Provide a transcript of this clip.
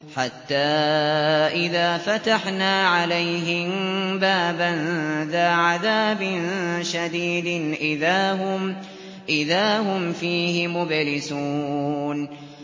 حَتَّىٰ إِذَا فَتَحْنَا عَلَيْهِم بَابًا ذَا عَذَابٍ شَدِيدٍ إِذَا هُمْ فِيهِ مُبْلِسُونَ